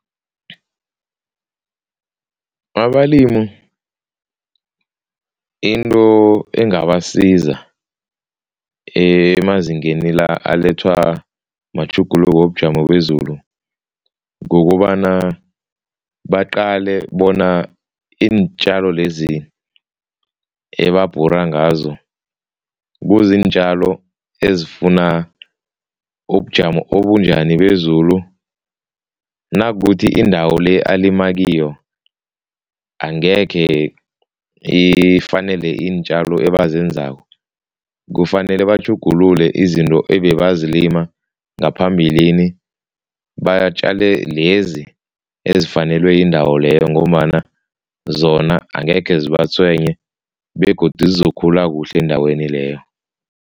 Abalimu into engabasiza emazingeni la alethwa matjhuguluko wobujamo bezulu, kukobana baqale bona iintjalo lezi ebabhura ngazo kuziintjalo ezifuna ubujamo obunjani bezulu. Nakukuthi indawo le alima kiyo angekhe ifanele iintjalo ebazenzako, kufanele batjhugulule izinto ebebazilima ngaphambilini, batjale lezi ezifanelwe yindawo leyo ngombana zona angekhe zibatswenye begodu zizokhula kuhle endaweni leyo.